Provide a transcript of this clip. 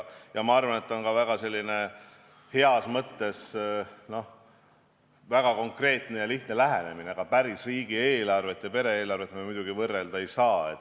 Ja ma arvan, et see on heas mõttes väga konkreetne ja lihtne lähenemine, aga päris riigieelarvet ja pere-eelarvet me muidugi võrrelda ei saa.